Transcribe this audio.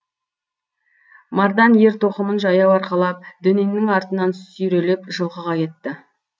мардан ер тоқымын жаяу арқалап дөненнің артынан сүйреліп жылқыға кетті